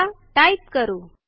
चला टाईप करू